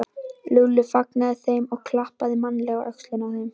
Lúlli fagnaði þeim og klappaði mannalega á öxlina á þeim.